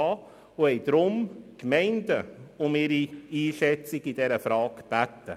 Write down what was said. Deshalb baten sie die Gemeinden um ihre Einschätzung zu dieser Frage.